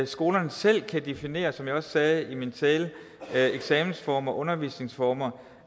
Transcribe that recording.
skolerne selv kan definere som jeg også sagde i min tale eksamensformer og undervisningsformer